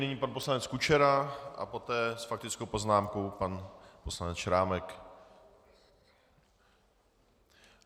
Nyní pan poslanec Kučera a poté s faktickou poznámkou pan poslanec Šrámek.